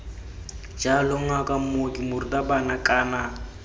jalo ngaka mooki morutabana kana